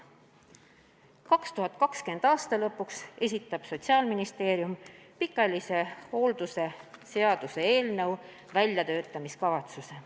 2020. aasta lõpuks esitab Sotsiaalministeerium pikaajalise hoolduse seaduse eelnõu väljatöötamiskavatsuse.